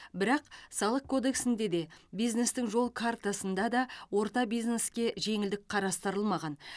бірақ салық кодексінде де бизнестің жол картасында да орта бизнеске жеңілдік қарастырылмаған